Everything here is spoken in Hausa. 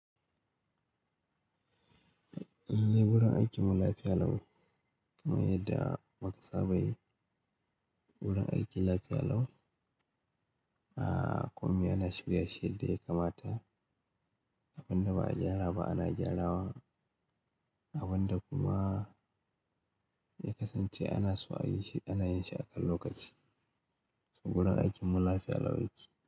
Gurin aikin mu lafiya lau, kamar yadda muka saba yi wurin aiki lafiya lau. Aaa, komi ana shirya shi yad da ya kamata, abin da ba a gyara ba ana gyarawa, abin da kuma ya kasance ana so a yi shi ana yin shi akan lokaci. Saboda gurin aikin mu lafiya lau yake.